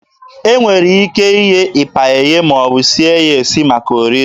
E nwere ike ighe ịpa eghe maọbụ sie ya esi maka oriri.